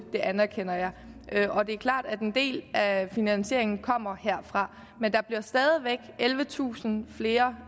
det anerkender jeg det er klart at en del af finansieringen kommer herfra men der bliver stadig væk ellevetusind flere